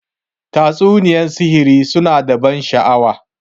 Tatsuniyar sihiri su na da ban sha'awa.